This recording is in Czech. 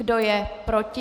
Kdo je proti?